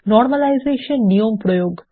normalisation নিয়ম প্রয়োগ